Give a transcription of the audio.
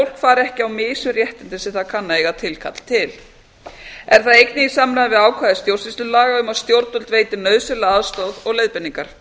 fari ekki á mis við réttindi sem það kann að eiga tilkall til er það einnig í samræmi við ákvæði stjórnsýslulaga um að stjórnvöld veiti nauðsynlega aðstoð og leiðbeiningar